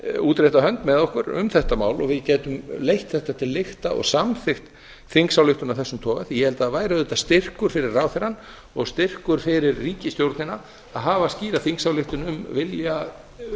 útrétta hönd með okkur um þetta mál og við gætum leitt þetta til lykta og samþykkt þingsályktun af þessum toga því að ég held að það væri auðvitað styrkur fyrir ráðherrann og styrkur fyrir ríkisstjórnina að hafa skýra þingsályktun um vilja